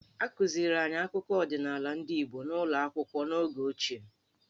A kụziri anyị akụkọ ọdịnaala ndị Igbo n'ụlọ akwụkwọ n'oge ochie.